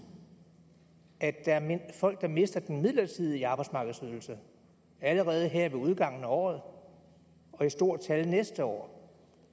at der er folk der mister den midlertidige arbejdsmarkedsydelse allerede her ved udgangen af året og i stort tal næste år